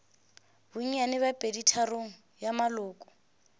bonnyane bja peditharong ya maloko